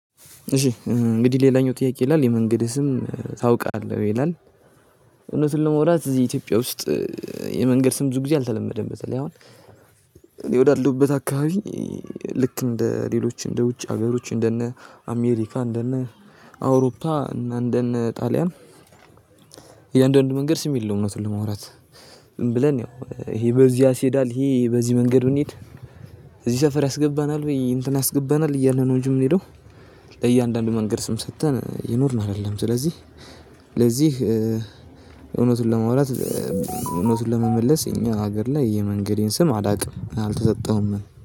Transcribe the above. እሺ እንግዲህ ሌላኛው ጥያቄ ይላል የመንገድ ስም ታውቃለህ ይላል? እውነቱን ለማውራት እዚህ ኢትዮጵያ ውስጥ የመንገድ ስም ብዙ ጊዜ አልተለመደም በዛ ላይ አሁን። እኔ ወዳለሁበት አካባቢ ልክ እንደ ሌሎች እንደ ውጭ ሀገሮች እንደነ አሜሪካ እንደነ አውሮፓ እንደነ ጣሊያን እያንዳንዱ መንገድ ስም የለውም እውነት ለማውራት። ብለን ያው ይሄ በዚህ ያስሄዳል ይሄ በዚህ መንገድ እንሂድ። እዚህ ሰፈር ያስገባናል ወይ እንትን ያስገባናል እያለ ነው እንጂ የምንሄደው። ለእያንዳንዱ መንገድ ስም ሰጥተን እየኖርን አይደለም ስለዚህ። ለዚህ እውነቱን ለማውራት እውነቱን ለመመለስ እኛ ሀገር ላይ የመንገዴን ስም አላውቅም አልተሰጠውምም